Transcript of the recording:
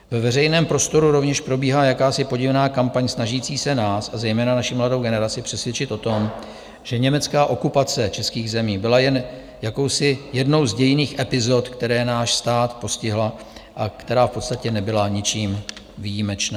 Ve veřejném prostoru rovněž probíhá jakási podivná kampaň snažící se nás a zejména naši mladou generaci přesvědčit o tom, že německá okupace českých zemí byla jen jakousi jednou z dějinných epizod, která náš stát postihla a která v podstatě nebyla ničím výjimečná.